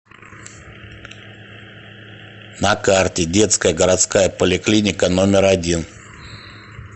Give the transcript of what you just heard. на карте детская городская поликлиника номер один